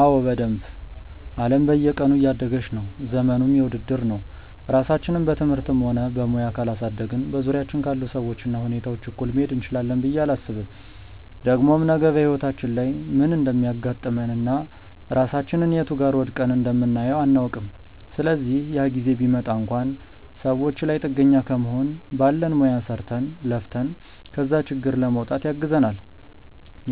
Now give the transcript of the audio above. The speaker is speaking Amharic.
አዎ በደንብ። አለም በየቀኑ እያደገች ነው፤ ዘመኑም የውድድር ነው። ራሳችንን በትምህርትም ሆነ በሙያ ካላሳደግን በዙሪያችን ካሉ ሰዎች እና ሁኔታዎች እኩል መሄድ እንችላለን ብዬ አላስብም። ደግሞም ነገ በህይወታችን ላይ ምን እንደሚያጋጥመን እና ራሳችንን የቱ ጋር ወድቀን እንደምናየው አናውቅም። ስለዚህ ያ ጊዜ ቢመጣ እንኳን ሰዎች ላይ ጥገኛ ከመሆን ባለን ሙያ ሰርተን፣ ለፍተን ከዛ ችግር ለመውጣት ያግዘናል።